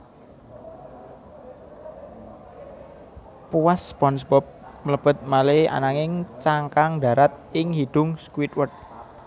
Puas SpongeBob mlebet malih ananging cangkang ndarat ing hidung Squidward